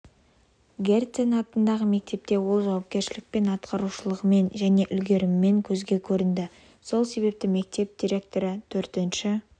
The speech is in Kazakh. герцен атындағы мектепте ол жауапкершілікпен атқарушылығымен және үлгерімімен көзге көрінді сол себепті мектеп директоры төртінші